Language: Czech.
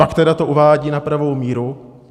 Pak teda to uvádí na pravou míru.